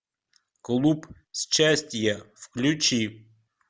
клуб счастье включи